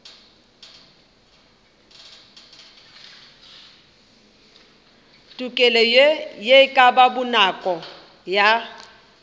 tokelo ye ka bonako ya